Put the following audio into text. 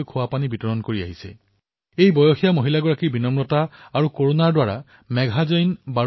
আপোনালোকে নিশ্চয়কৈ পঢ়ক আৰু প্ৰেৰিত হওক নিজেও ওচৰপাজৰৰ কাহিনী বিনিময় কৰক আৰু মই ভাৰতৰ এই সকলো লক্ষ্মীক সাদৰেৰে প্ৰণাম জনাইছো